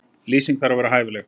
Lýsing þarf að vera hæfileg.